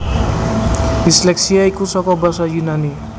Disleksia iku saka basa Yunani